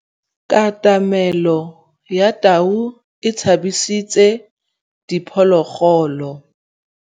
Katamêlô ya tau e tshabisitse diphôlôgôlô.